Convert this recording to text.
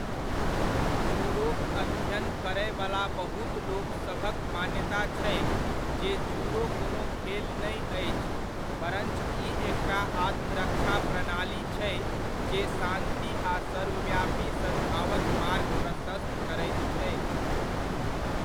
जूडोक अध्ययन करयवला बहुत लोकसभक मान्यता छै जे जूडो कोनो खेल नहि अछि परञ्च ई एकटा आत्मरक्षा प्रणाली छै जे शान्ति आ सर्वव्यापी सद्भावक मार्ग प्रशस्त करैत छै।